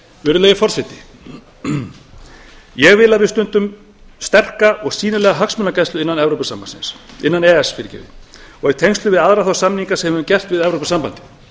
virðulegi forseti ég vil að við stundum sterka og sýnilega hagsmunagæslu innan e e s og í tengslum við aðra þá samninga sem við höfum gert við evrópusambandið